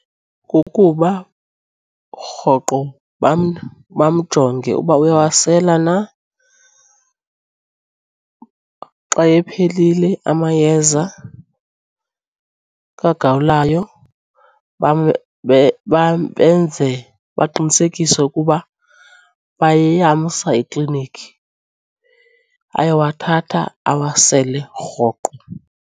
Kukuba rhoqo bamjonge uba uyawasela na. Xa ephelile amayeza kagawulayo benze baqinisekise ukuba bayamsa eklinikhi ayowathatha awasele rhoqo.